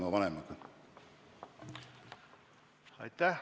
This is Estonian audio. Aitäh!